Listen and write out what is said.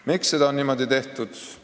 Miks seda on niimoodi tehtud?